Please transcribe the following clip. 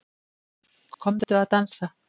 Komdu að dansa